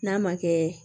N'a ma kɛ